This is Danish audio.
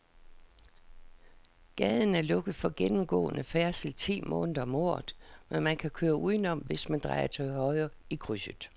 Gaden er lukket for gennemgående færdsel ti måneder om året, men man kan køre udenom, hvis man drejer til højre i krydset.